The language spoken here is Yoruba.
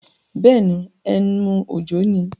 Bẹ́ẹ̀ni, emu òjọ́ ni.